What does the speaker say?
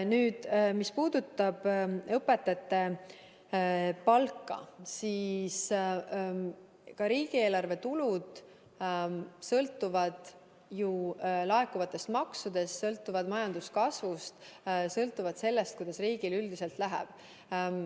Nüüd, mis puudutab õpetajate palka, siis ka riigieelarve tulud sõltuvad ju laekuvatest maksudest, sõltuvad majanduskasvust, sõltuvad sellest, kuidas riigil üldiselt läheb.